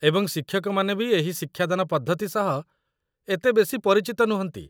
ଏବଂ ଶିକ୍ଷକମାନେ ବି ଏହି ଶିକ୍ଷାଦାନ ପଦ୍ଧତି ସହ ଏତେ ବେଶୀ ପରିଚିତ ନୁହନ୍ତି।